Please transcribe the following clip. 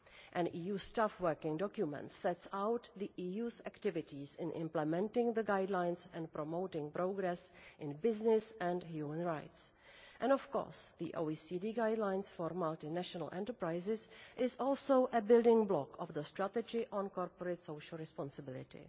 An EU Staff Working Document sets out the EU's activities in implementing the guidelines and promoting progress in business and human rights. And, of course, the OECD Guidelines for Multinational Enterprises is also a building block of the Strategy on Corporate Social Responsibility.